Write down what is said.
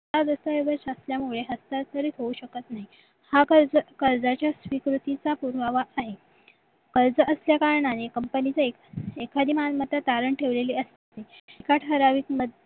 हा दस्तऐवज असल्यामुळे हस्ताक्षरी होऊ शकत नाही हा कर्ज कर्जाच्या स्वीकृतीचा पुरावा आहे कर्ज असल्याकारणाने company चे एक एखादी मालमत्ता तारण ठेवलेली असते एका ठराविक